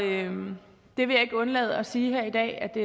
ikke undlade at sige her i dag at det